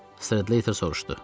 Strater soruşdu.